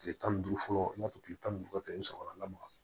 Kile tan ni duuru fɔlɔ in n'a fɔ kile tan ni duuru i bi sɔgɔla